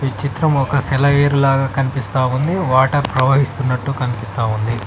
ఈ చిత్రం ఒక సెలయేరు లాగా కనిపిస్తా ఉంది వాటర్ ప్రవహిస్తున్నట్టు కనిపిస్తా ఉంది.